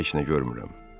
Mən heç nə görmürəm.